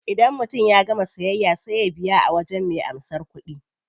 Idan mutum ya gama siyayya sai ya biya a wajen me karban kudi.